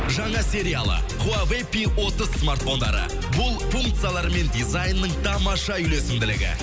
жаңа сериалы хуавэй пи отыз смартфондары бұл функциялар мен дизайнның тамаша үйлесімділігі